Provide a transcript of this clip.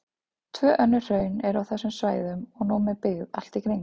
Tvö önnur hraun eru á þessum svæðum og nú með byggð allt í kring.